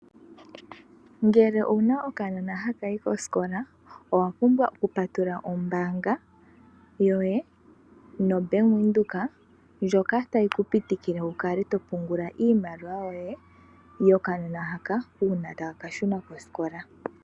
Ngele owuna okanona hakayi kosikola owapumbwa oku patulula ombaanga yoye no bank widhoek ndjoka tayi ku pitikile wukale topungula iinima yokanona haka uuna taka ka shuna kosikola.